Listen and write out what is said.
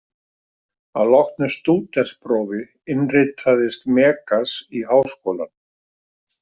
Að loknu stúdentsprófi innritaðist Megas í Háskólann.